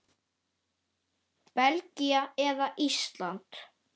Belgía eða Ísland?